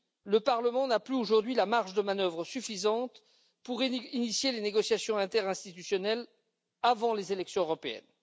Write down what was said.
Le Parlement n'a plus aujourd'hui la marge de manœuvre suffisante pour initier les négociations interinstitutionnelles avant les élections européennes.